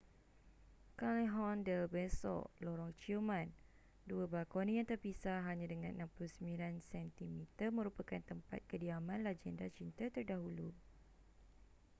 callejon del beso lorong ciuman. dua balkoni yang terpisah hanya dengan 69 sentimeter merupakan tempat kediaman lagenda cinta terdahulu